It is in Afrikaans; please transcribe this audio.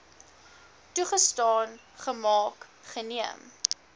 toegestaan gemaak geneem